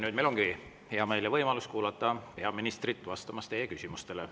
Nüüd meil ongi hea meel ja võimalus kuulata peaministrit, kes tuleb vastama teie küsimustele.